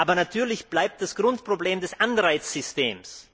Aber natürlich bleibt das Grundproblem des Anreizsystems.